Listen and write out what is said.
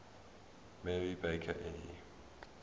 mary baker eddy